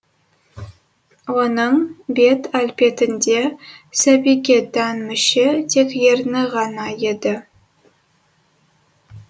оның бет әлпетінде сәбиге тән мүше тек ерні ғана еді